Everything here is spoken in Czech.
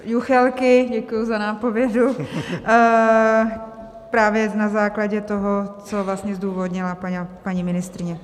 Juchelky, děkuji za nápovědu, právě na základě toho, co vlastně zdůvodnila paní ministryně.